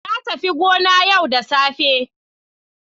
Na tafi gona yau da safe.